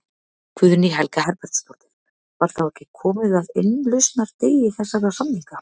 Guðný Helga Herbertsdóttir: Var þá ekki komið að innlausnardegi þessara samninga?